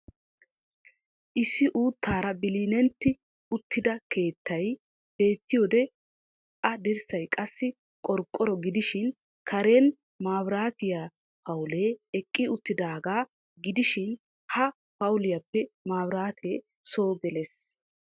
Issi uuttaara bililintti uttida keettay beettiyode a dirssay qassi qorqoro gidishiin kareen maabiraatiya pawulee eqqi uttidaagaa gidishiin ha pawuliyaappe mabiratee soo geliis.